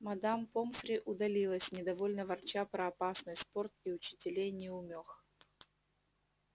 мадам помфри удалилась недовольно ворча про опасный спорт и учителей-неумёх